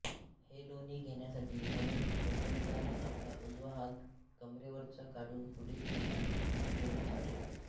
हे लोणी घेण्यासाठी म्हणून भगवंतांनी आपला उजवा हात कमरेवरचा काढून पुढे केला नि लोणी चाटले